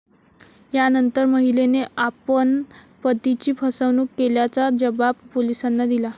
यानंतर, महिलेने आपण पतीची फसवणूक केल्याचा जबाब पोलिसांना दिला.